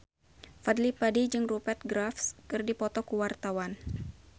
Fadly Padi jeung Rupert Graves keur dipoto ku wartawan